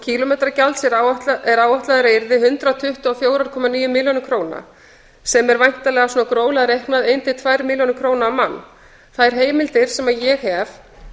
kílómetragjalds er áætlað að yrði hundrað tuttugu og fjórar komma níu milljónir króna sem er væntanlega gróflega reiknað um ein til tvær milljónir króna á mann þær heimildir sem ég hef